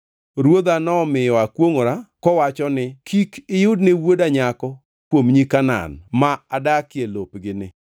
Ruodha nomiyo akwongʼora kowacho ni, ‘Kik iyudne wuoda nyako kuom nyi Kanaan ma adakie lopgini,